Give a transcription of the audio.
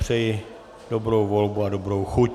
Přeji dobrou volbu a dobrou chuť.